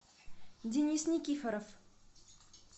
денис никифоров